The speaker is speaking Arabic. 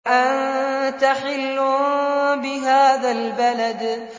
وَأَنتَ حِلٌّ بِهَٰذَا الْبَلَدِ